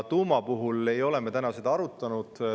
Tuuma puhul ei ole me seda arutanud.